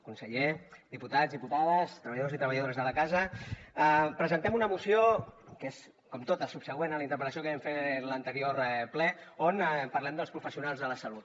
conseller diputats diputades treballadors i treballadores de la casa presentem una moció que és com totes subsegüent a la interpel·lació que vam fer en l’anterior ple on parlem dels professionals de la salut